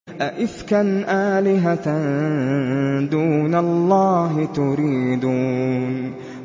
أَئِفْكًا آلِهَةً دُونَ اللَّهِ تُرِيدُونَ